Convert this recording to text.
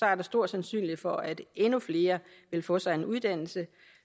er der stor sandsynlighed for at endnu flere vil få sig en uddannelse